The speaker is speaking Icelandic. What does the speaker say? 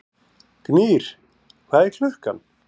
Gnýr, hvað er klukkan?